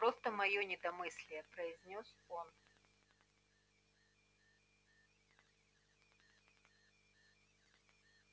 просто моё недомыслие произнёс он